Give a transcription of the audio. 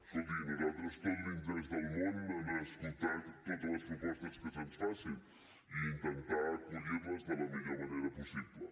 escolti nosaltres tot l’interès del món a escoltar totes les propostes que se’ns facin i intentar acollir les de la millor manera possible